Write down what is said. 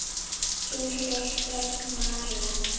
Þín systir, María.